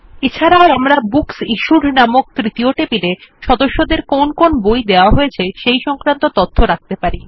এছাড়াও আমরা বুকসিশ্যুড নামক তৃতীয় টেবিলে সদস্যদের কোন কোন বই দেওয়া হয়েছে সেই তথ্য রাখতে পারি